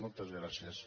moltes gràcies